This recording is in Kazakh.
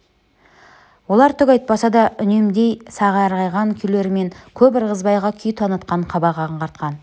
олар түк айтпаса да үндемей сазарған күйлерімен көп ырғызбайға күй танытқан қабақ аңғартқан